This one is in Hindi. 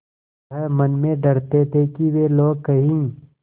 वह मन में डरते थे कि वे लोग कहीं